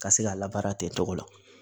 Ka se ka labaara ten tɔgɔ la